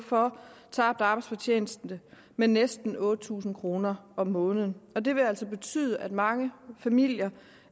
for tabt arbejdsfortjeneste med næsten otte tusind kroner om måneden det vil betyde at mange familier